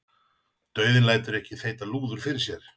Dauðinn lætur ekki þeyta lúður fyrir sér.